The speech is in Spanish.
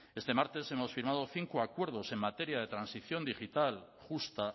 este martes hemos firmado cinco acuerdos en materia de transición digital justa